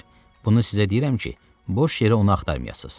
Bunu sizə deyirəm ki, boş yerə onu axtarmayasız.